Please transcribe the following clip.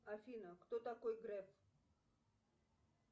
афина кто такой греф